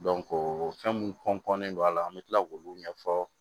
fɛn mun don a la an bɛ tila k'olu ɲɛfɔ